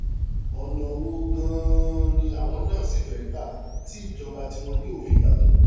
ọ̀nà wo gan-an ni àwọn náà sì fẹ́ẹ́ gbà tí ìjọba tiwọn yóò fi yàtọ̀